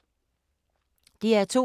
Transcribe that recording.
DR2